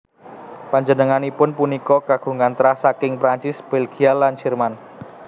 Panjenenganipun punika kagungan trah saking Prancis Bèlgia lan Jerman